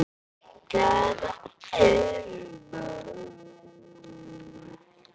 Hvaða umboð?